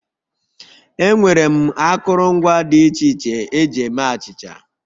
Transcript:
Enwere m akụrụngwa dị iche iche eji eme achịcha